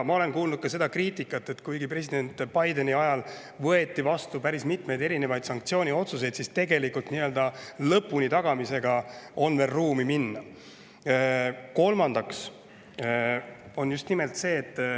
Ma olen kuulnud ka seda kriitikat, et kuigi president Bideni ajal võeti vastu päris mitmeid sanktsiooniotsuseid, siis tegelikult nii-öelda lõpuni tagamisel on veel maad minna.